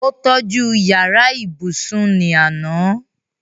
ó tọ́ju yàrá ibùsùn ní àná